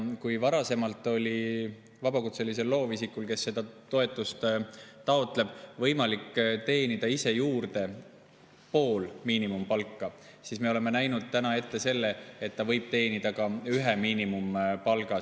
Kui varasemalt oli vabakutselisel loovisikul, kes seda toetust taotleb, võimalik teenida ise juurde pool miinimumpalka, siis me oleme näinud ette selle, et ta võib teenida ka ühe miinimumpalga.